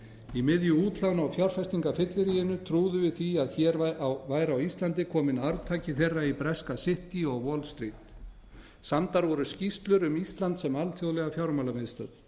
í miðju útlána og fjárfestingafylleríinu trúðum við því að hér væri á íslandi kominn arftaki þeirra í breska city og wallstreet samdar voru skýrslur um ísland sem alþjóðlega fjármálamiðstöð